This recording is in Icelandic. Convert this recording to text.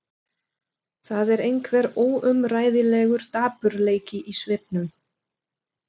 Það er einhver óumræðilegur dapurleiki í svipnum.